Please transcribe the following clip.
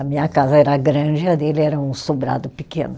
A minha casa era grande e a dele era um sobrado pequeno.